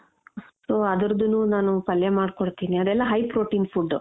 so ಅದ್ರುದ್ದೂನು ನಾನು ಪಲ್ಯ ಮಾಡ್ಕೊಡ್ತೀನಿ ಅದೆಲ್ಲ high protein food .